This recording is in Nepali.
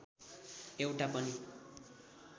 एउटा पनि